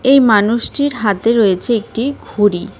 এই মানুষটির হাতে রয়েছে একটি ঘড়ি .